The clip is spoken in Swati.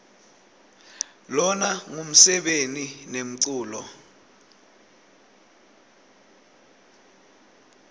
lona ngumsebeni nemculo